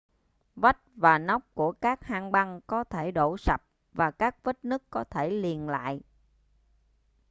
vách và nóc của các hang băng có thể đổ sập và các vết nứt có thể liền lại